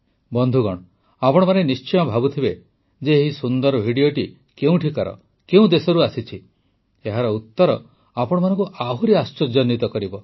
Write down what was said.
ବନ୍ଧୁଗଣ ଆପଣମାନେ ନିଶ୍ଚୟ ଭାବୁଥିବେ ଯେ ଏହି ସୁନ୍ଦର ଭିଡ଼ିଓଟି କେଉଁଠିକାର କେଉଁ ଦେଶରୁ ଆସିଛି ଏହାର ଉତ୍ତର ଆପଣମାନଙ୍କୁ ଆହୁରି ଆଶ୍ଚର୍ଯ୍ୟାନ୍ୱିତ କରିବ